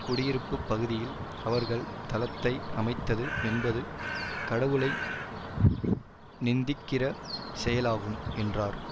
குடியிருப்பு பகுதியில் அவர்கள் தளத்தை அமைத்தது என்பது கடவுளை நிந்திக்கிற செயலாகும் என்றார்